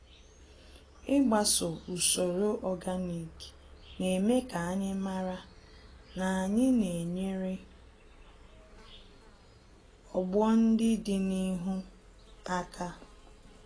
Ịgbaso usoro ọganik, neme kanyi màrà, na anyị na enyere ọgbọ ndị dị n'ihu àkà